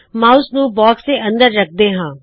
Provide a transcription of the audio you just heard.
mouse ਨੂੰ box ਦੇ ਅੰਦਰ ਰੱਖਦੇ ਹੋਏ